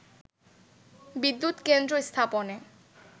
বিদ্যুৎ কেন্দ্র স্থাপনে